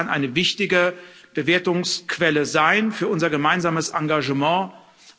auch das kann eine wichtige Bewertungsquelle für unser gemeinsames Engagement sein.